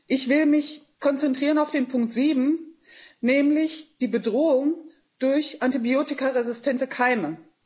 Ich will mich konzentrieren auf den Punkt 7, nämlich die Bedrohung durch antibiotikaresistente Keime.